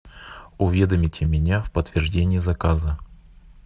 уведомите меня в подтверждение заказа